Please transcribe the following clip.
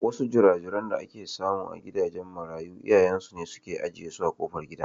Wasu jira-jiran da ake samu a gidan marayu iyayen su ne suke ajiye su a kofar gidan.